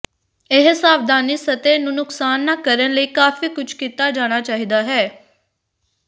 ਇਹ ਸਾਵਧਾਨੀ ਸਤਹ ਨੂੰ ਨੁਕਸਾਨ ਨਾ ਕਰਨ ਲਈ ਕਾਫ਼ੀ ਕੁਝ ਕੀਤਾ ਜਾਣਾ ਚਾਹੀਦਾ ਹੈ